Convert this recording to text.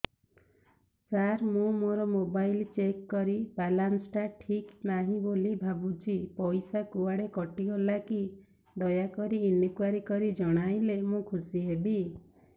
ସାର ମୁଁ ମୋର mobile check କଲି ବାଲାନ୍ସ ଟା ଠିକ ନାହିଁ ବୋଲି ଭାବୁଛି ପଇସା କୁଆଡେ କଟି ଗଲା କି ଦୟାକରି ଇନକ୍ୱାରି କରି ଜଣାଇଲେ ମୁଁ ଖୁସି ହେବି